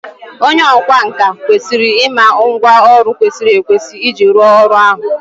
onye ọkwá nkà kwesịrị ịma ngwá ọrụ kwesịrị ekwesị iji rụọ ọrụ ahụ